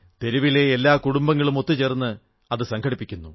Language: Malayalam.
തെരുവിലെ എല്ലാ കുടുംബങ്ങളും ഒത്തുചേർന്ന് അത് സംഘടിപ്പിക്കുന്നു